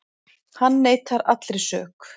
Hann neitar allri sök